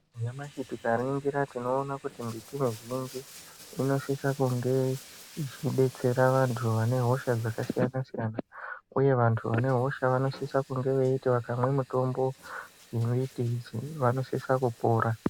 Nyamashi tikaningira tinoone kuti mbiti mizhinji inosise kunge ichidetsera vantu vane hosha dzakasiyana siyana uye vantu vane hosha vanosise kuti vakamwe mitombo yembiti idzi vanosise kupora.